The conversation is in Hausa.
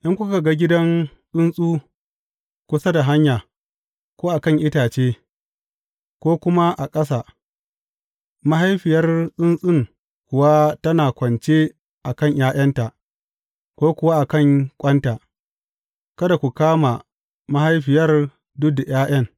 In kuka ga gidan tsuntsu kusa da hanya, ko a kan itace, ko kuma a ƙasa, mahaifiyar tsuntsun kuwa tana kwance a kan ’ya’yanta, ko kuwa a kan ƙwanta, kada ku kama mahaifiyar duk da ’ya’yan.